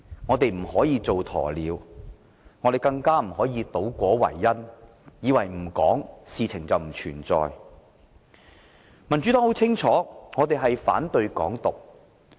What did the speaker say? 我們不可以扮鴕鳥，更不可以倒果為因，以為問題不提便等於不存在。